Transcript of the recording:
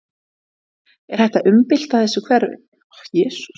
Er hægt að umbylta þessu kerfi?